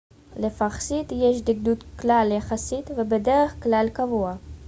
לפרסית יש דקדוק קל יחסית ובדרך כלל קבוע